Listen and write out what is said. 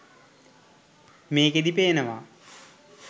මේකෙදී පේනවා